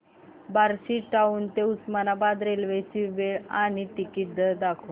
Barshi town ते Osmanabad railway ची वेळ आणि तिकीट दर दाखव